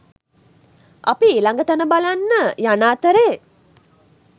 අපි ඊළඟ තැන බලන්න යන අතරේ